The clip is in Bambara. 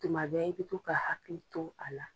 Tuma bɛ i bɛ to ka hakili to a la.